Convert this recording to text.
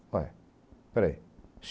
Olha, peraí.